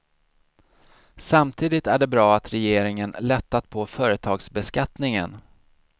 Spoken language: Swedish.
Samtidigt är det bra att regeringen lättat på företagsbeskattningen.